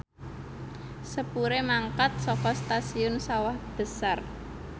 sepure mangkat saka Stasiun Sawah Besar